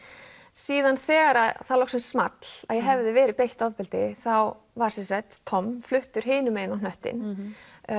síðan þegar það loksins small að ég hefði verið beitt ofbeldi þá var Tom fluttur hinum megin á hnöttinn